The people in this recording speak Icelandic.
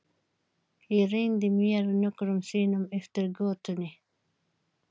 Ég renndi mér nokkrum sinnum eftir götunni.